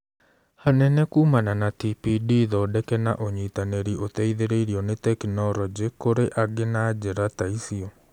Hanene kumana na TPD thondeke na ũnyitanĩri ũteithĩrĩrio nĩ tekinoronjĩ kũrĩ angĩ na njĩra ta icio.